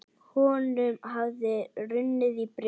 Honum hafði runnið í brjóst.